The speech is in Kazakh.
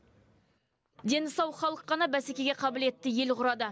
дені сау халық қана бәсекеге қабілетті ел құрады